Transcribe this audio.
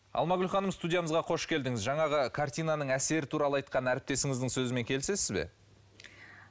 алмагүл ханым студиямызға қош келдіңіз жаңағы картинаның әсері туралы айтқан әріптесіңіздің сөзімен келісесіз бе